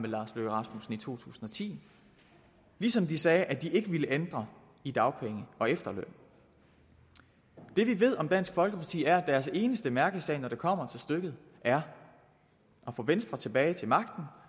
lars løkke rasmussen to tusind og ti ligesom de sagde at de ikke ville ændre i dagpengene og efterlønnen det vi ved om dansk folkeparti er at deres eneste mærkesag når det kommer til stykket er at få venstre tilbage til magten